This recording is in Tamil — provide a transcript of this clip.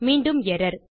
மீண்டும் எர்ரர்